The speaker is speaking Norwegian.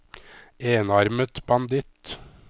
enarmet banditt